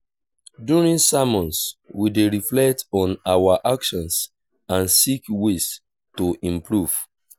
during sermons we dey reflect on our actions and seek ways to improve.